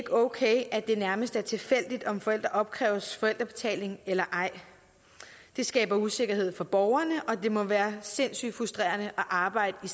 okay at det nærmest er tilfældigt om forældre opkræves forældrebetaling eller ej det skaber usikkerhed for borgerne og det må være sindssygt frustrerende at arbejde i